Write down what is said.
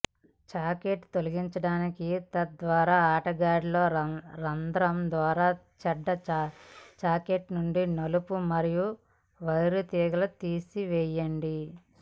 socket తొలగించటానికి తద్వారా ఆటగాడిలో రంధ్రం ద్వారా చెడ్డ సాకెట్ నుండి నలుపు మరియు వైర్ తీగలు తీసివేయండి